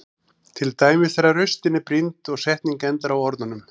Til dæmis þegar raustin er brýnd og setning endar á orðunum.